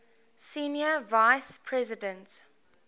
senior vice president